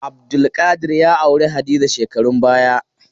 Abdulkadir ya auri Hadiza shekarun baya.